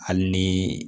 Hali ni